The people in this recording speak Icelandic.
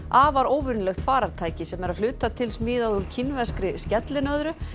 afar óvenjulegt farartæki sem er að hluta til smíðað úr kínverskri skellinöðru